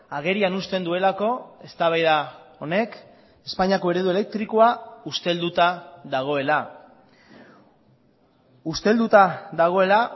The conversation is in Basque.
agerian uzten duelako eztabaida honek espainiako eredu elektrikoa ustelduta dagoela ustelduta dagoela